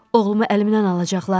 Oğlumu əlimdən alacaqlar?